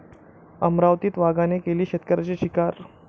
अमरावतीत वाघाने केली शेतकऱ्याची शिकार